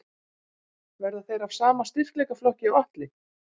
Verða þeir af sama styrkleikaflokki og Atli?